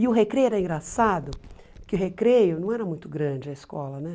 E o recreio era engraçado, porque o recreio não era muito grande a escola, né?